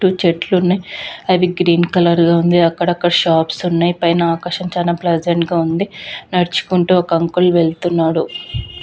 చుట్టు చెట్లు ఉన్నాయి. అవి గ్రీన్ కలర్ గా ఉంది. అక్కడ అక్కడ షాప్స్ ఉన్నాయి. పైన ఆకాశం చాలా ప్రెసెంట్ గా ఉంది. నడుచుకుంటూ ఒక అంకుల్ వెళ్తున్నాడు.